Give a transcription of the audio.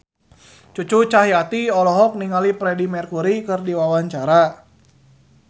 Cucu Cahyati olohok ningali Freedie Mercury keur diwawancara